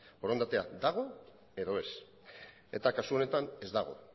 borondatea dago edo ez eta kasu honetan ez dago